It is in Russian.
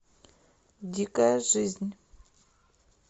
дикая жизнь